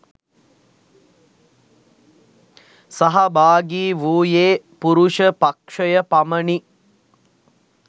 සහභාගි වූයේ පුරුෂ පක්‍ෂය පමණි